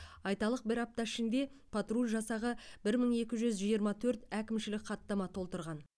айталық бір апта ішінде патруль жасағы бір мың екі жүз жиырма төрт әкімшілік хаттама толтырған